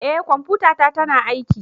Eh kwamfutata tana aiki